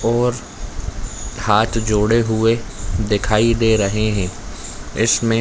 और हाथ जोड़े हुए दिखाई दे रहे है इसमें--